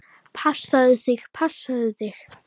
Passaðu þig, passaðu þig!